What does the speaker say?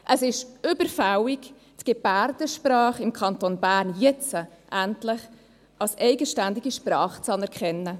Es ist überfällig, die Gebärdensprache im Kanton Bern jetzt endlich als eigenständige Sprache anzuerkennen.